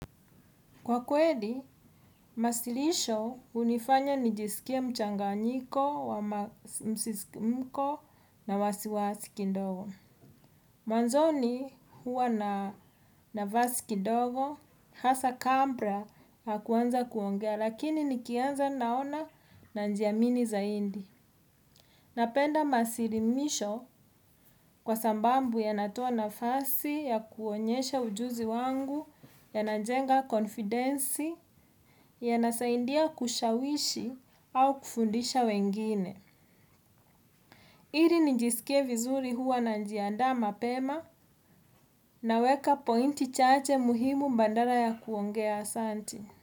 Kwa kweli, wasilisho hunifanya nijisikie mchanganyiko wa msisimuko na wasiwasi kidogo. Mwanzoni huwa na nafasi kidogo, hasa kabla ya kuanza kuongea lakini nikianza naona na najiamini zaidi. Napenda masilimisho kwa sababu yanatoa nafasi ya kuonyesha ujuzi wangu yanajenga confindence yanasaidia kushawishi au kufundisha wengine. Ili nijisikie vizuri huwa najiandaa mapema naweka pointi chache muhimu badala ya kuongea asanti.